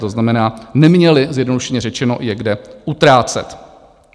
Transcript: To znamená, neměli, zjednodušeně řečeno, je kde utrácet.